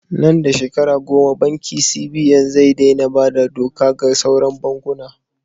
Nan da shekara goma banki CBN zata dai na bada doka ga sauran bankuna